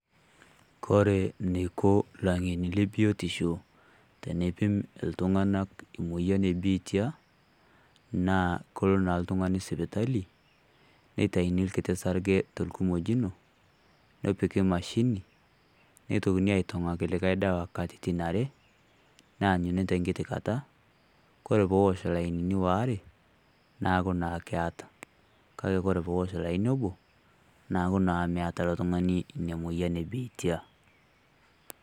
Kore neiko llang'eni le biotisho teneipum ltung'anak emuoyian ebiitia, naa kelo naa ltung'ani sipitali, neitaini kiti sarge tolkumojino, nepiki mashini neitokini aitong'aki likai dawa katitin are neanyuni tenkiti kata kore peosh lainini waare neaku naa keata, kake peosh laini obo neaku naa meata ilo tung'ani ina moyian ebiitia.